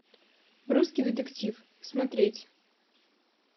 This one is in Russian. русский детектив смотреть